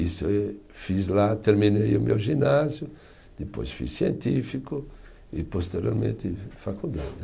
Isso e fiz lá, terminei o meu ginásio, depois fiz científico e posteriormente faculdade.